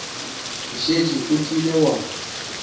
o šetše o kile wa